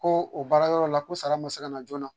Koo o baarayɔrɔ la ko sara ma se kana joona.